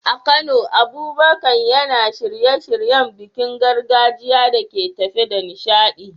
A Kano, Abubakar yana shirye-shiryen bikin gargajiya da ke tafe da nishadi.